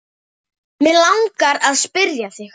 Mig langar að spyrja þig.